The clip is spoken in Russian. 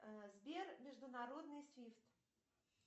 сбер международный свифт